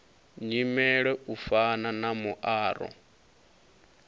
nyimele u fana na muaro